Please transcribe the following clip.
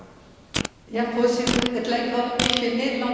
Het lijkt wel een beetje een Nederlandse discussie te worden.